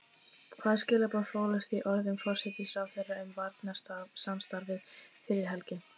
Hvaða skilaboð fólust í orðum forsætisráðherra um varnarsamstarfið fyrir helgi?